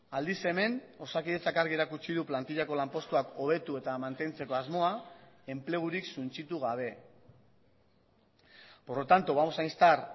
aldiz hemen osakidetzak argi erakutsi du plantilako lanpostuak hobetu eta mantentzeko asmoa enplegurik suntsitu gabe por lo tanto vamos a instar